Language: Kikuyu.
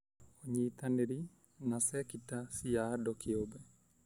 ũnyitanĩri na cekita cia andũ kĩũmbe: